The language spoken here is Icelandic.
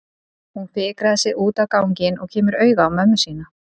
Hún fikrar sig út á ganginn og kemur auga á mömmu sína.